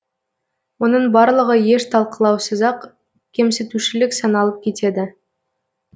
оның барлығы еш талқылаусыз ақ кемсітушілік саналып кетеді